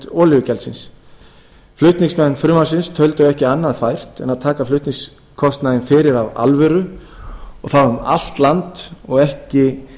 olíugjaldsins flutningsmenn frumvarpsins töldu ekki annað fært en taka flutningskostnaðinn fyrir af alvöru og það um allt land og ekki